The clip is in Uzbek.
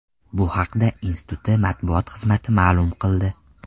Bu haqda instituti matbuot xizmati ma’lum qildi.